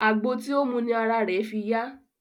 Àgbo tí ó mu ni ara rẹ̀ fi yá.